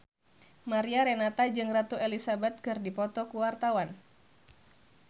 Mariana Renata jeung Ratu Elizabeth keur dipoto ku wartawan